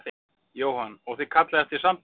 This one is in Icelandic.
Jóhann: Og þið kallið eftir samtali?